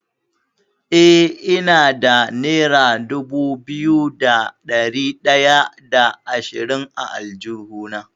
Eh, ina da nera dubu biyu da ɗari ɗaya da ashirin a aljihuna.